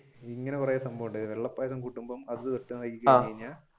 ഇങ്ങനെ കുറെ സംഭവമുണ്ട് വെള്ള പായസം കുടിക്കുമ്പോൾ